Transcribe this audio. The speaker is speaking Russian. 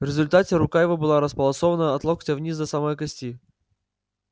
в результате рука его была располосована от локтя вниз до самой кости